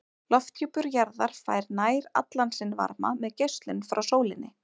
Lofthjúpur jarðar fær nær allan sinn varma með geislun frá sólinni.